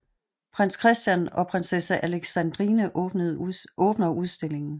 Prins Christian og prinsesse Alexandrine åbner udstillingen